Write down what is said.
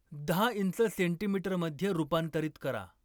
दहा इंच सेंटीमीटरमध्ये रूपांतरित करा